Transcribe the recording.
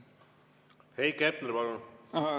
Heiki Hepner, palun!